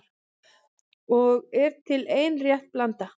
Og er til ein rétt blanda